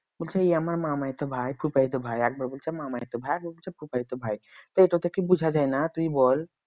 বলছি যে এ আমার মামায়িত ভাই ফুফায়িত ভাই একবার বলছে মামায়িত ভাই একবার বলছে ফুফায়িত ভাই এতো তে কি বুঝা যায় না তুই বল